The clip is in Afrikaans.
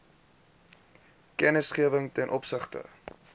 kennisgewing ten opsigte